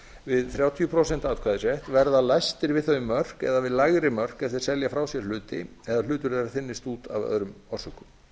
við þrjátíu prósent atkvæðisrétt verða lægstir við þau mörk eða við lægri mörk ef þeir selja frá sér hluti eða hlutur þeirra þynnist út af öðrum orsökum